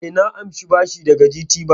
E, na amshi bashi daga GTBank.